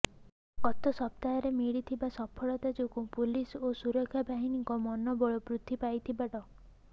ଗତ ସପ୍ତାହରେ ମିଳିଥିବା ସଫଳତା ଯୋଗୁଁ ପୁଲିସ ଓ ସୁରକ୍ଷା ବାହିନୀଙ୍କ ମନୋବଳ ବୃଦ୍ଧି ପାଇଥିବା ଡ